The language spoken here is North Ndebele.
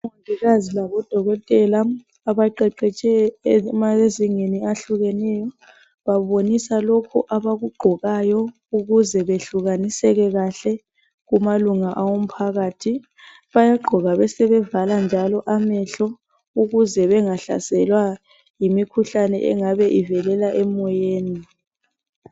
Omongikazi labodokotela abaqeqetshe emazingeni ayehlukeneyo babonisa lokhu abakugqokayo ukuze beyehlukanise kahle kumalunga omphakathi bayagqoka besebevala amehlo ukuze bengahlaselwa yimkhuhlane engabe ivelela emoyeni.